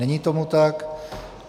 Není tomu tak.